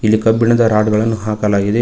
ಇಲ್ಲಿ ಕಬ್ಬಿಣದ ರಾಡ್ ಗಳನ್ನು ಹಾಕಲಾಗಿದೆ.